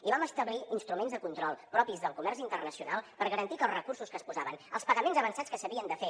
i vam establir instruments de control propis del comerç internacional per garantir que els recursos que es posaven els pagaments avançats que s’havien de fer